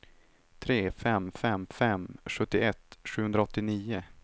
tre fem fem fem sjuttioett sjuhundraåttionio